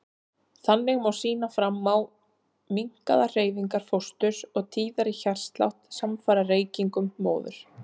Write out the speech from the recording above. Þannig má sýna fram á minnkaðar hreyfingar fósturs og tíðari hjartslátt samfara reykingum móður.